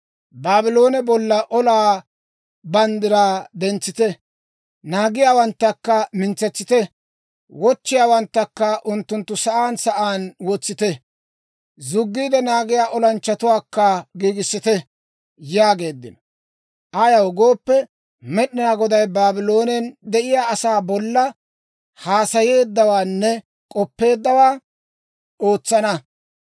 Baabloone bolla olaa banddiraa dentsite; naagiyaawanttakka mintsetsite! Wochchiyaawanttakka unttunttu sa'aan sa'aan wotsite; zuggiide naagiyaa olanchchatuwaakka giigissite!» yaageeddino. Ayaw gooppe, Med'inaa Goday Baabloonen de'iyaa asaa bolla haasayeeddawaanne k'oppeeddawaa ootsana.